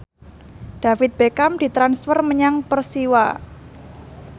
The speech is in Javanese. David Beckham ditransfer menyang Persiwa